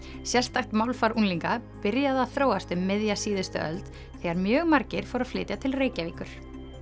sérstakt málfar unglinga byrjaði að þróast um miðja síðustu öld þegar mjög margir fluttu til Reykjavíkur